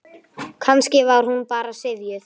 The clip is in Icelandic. Kannski var hún bara syfjuð.